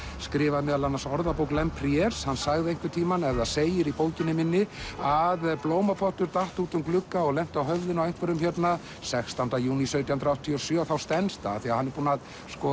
skrifar meðal annars Orðabók Lemprieres hann sagði einhvern tímann ef það segir í bókinni minni að blómapottur datt út um glugga og lenti á höfðinu á einhverjum hérna sextánda júní sautján hundruð áttatíu og sjö þá stenst það því hann er búinn að